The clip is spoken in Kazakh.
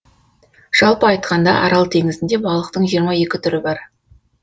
жалпы айтқанда арал теңізінде балықтың жиырма екі түрі бар